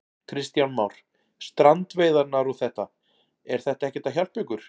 Kristján Már: Strandveiðarnar og þetta, er þetta ekkert að hjálpa ykkur?